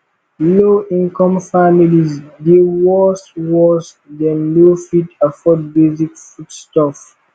lowincome families dey worst worst dem no fit afford basic foodstuffs